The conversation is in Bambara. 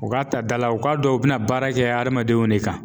U ka ta dala u k'a dɔn u bɛna baara kɛ adamadenw de kan.